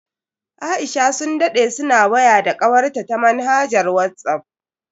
Aisha sun dade suna waya da kawarta ta manhajar Whatsapp.